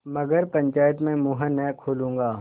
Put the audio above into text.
मगर पंचायत में मुँह न खोलूँगा